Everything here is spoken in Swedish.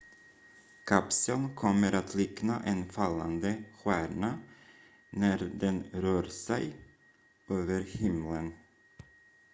kapseln kommer att likna en fallande stjärna när den rör sig över himlen